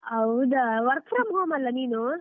ಹೌದಾ, work from home ಅಲಾ ನೀನು?